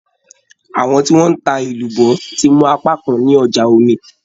Àwọn tí wọ́n ń ta èlùbọ́ ti mú apákan ní ọjà Omí.